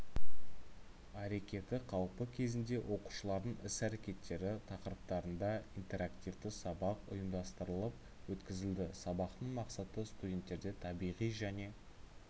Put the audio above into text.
әрекеті қауіпі кезінде оқушылардың іс-әрекеттері тақырыптарында интерактивті сабақ ұйымдастырылып өткізілді сабақтың мақсаты студенттерде табиғи және